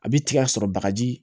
A bi tigɛ sɔrɔ bagaji